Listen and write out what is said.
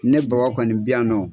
Ne Baba kɔni bi yan nɔ.